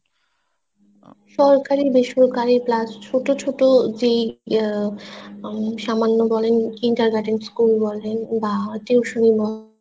সরকারি বেসরকারি plus ছোট ছোট যেই আহ উম সামান্য বলেন kinder garden school বলেন